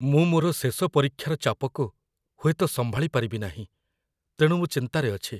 ମୁଁ ମୋର ଶେଷ ପରୀକ୍ଷାର ଚାପକୁ ହୁଏତ ସମ୍ଭାଳି ପାରିବି ନାହିଁ, ତେଣୁ ମୁଁ ଚିନ୍ତାରେ ଅଛି।